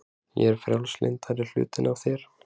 Ég er frjálslyndari hlutinn af þér.